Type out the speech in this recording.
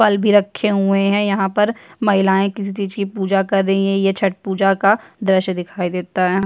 फल भी रखे हुए है यहाँ पर महिलाएँ किसी चीज की पूजा कर रही है ये छठ पूजा का दृश्य दिखाई देता है।